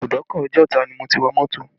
Ìbùdókọ̀ Ojota ni mo ti wọ mọ́tò